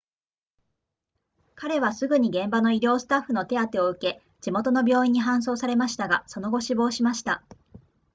彼はすぐに現場の医療スタッフの手当てを受け地元の病院に搬送されましたがその後死亡しました